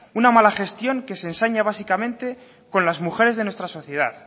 una mala gestión que se ensaña básicamente con las mujeres de nuestra sociedad